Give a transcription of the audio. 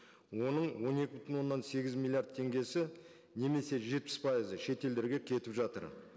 оның он екі бүтін оннан сегіз миллиард теңгесі немесе жетпіс пайызы шет елдерге кетіп жатыр